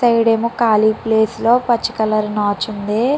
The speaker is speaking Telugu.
ఇటు సైడ్ ఏమో ఖాళీ ప్లేస్ లో నే పచ్చి కలర్ నాచు ఉంది.